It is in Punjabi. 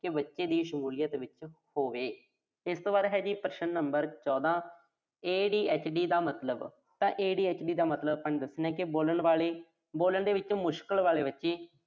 ਕਿ ਬੱਚੇ ਦੀ ਸ਼ਮੂਲੀਅਤ ਵਿੱਚ ਹੋਵੇ। ਇਸ ਤੋਂ ਬਾਅਦ ਹੈ ਜੀ ਪ੍ਰਸ਼ਨ number ਚੌਦਾਂ। ADHD ਦਾ ਮਤਲਬ ਤਾਂ ADHD ਦਾ ਮਤਲਬ ਆਪਾਂ ਦੱਸਣਾ ਕਿ ਬੋਲਣ ਵਾਲੇ, ਬੋਲਣ ਦੇ ਵਿੱਚ ਮੁਸ਼ਕਿਲ ਵਾਲੇ ਬੱਚੇ।